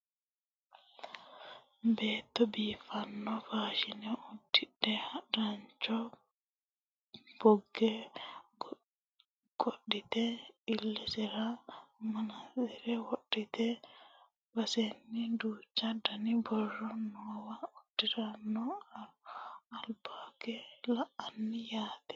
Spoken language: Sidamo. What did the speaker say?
beetto biiffanno faashine uddidhe harancho bogge qodhite illesera manaantsire wodhite badheseenni duuchu dani borro noowa uurrite no albaagge la'anni yaate